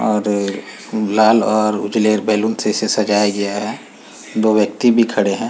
और अ लाल और उजले बैलून से इसे सजाया गया है। दो व्यक्तिी भी खड़े हैं।